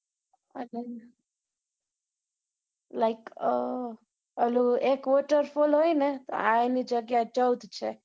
like uh ઓલો એક waterfall હોય ને આ એની જગ્યા એ ચૌદ છે.